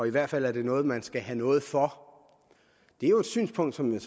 i hvert fald er noget man skal have noget for det er et synspunkt som jeg